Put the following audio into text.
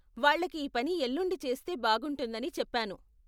వాళ్ళకి ఈ పని ఎల్లుండి చేస్తే బాగుంటుందని చెప్పాను.